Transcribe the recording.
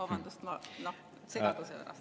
Vabandust segaduse pärast!